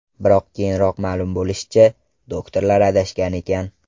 Biroq keyinroq ma’lum bo‘lishicha, doktorlar adashgan ekan.